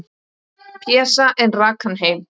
Pésa, en rak hann heim.